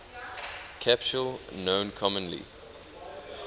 capsule known commonly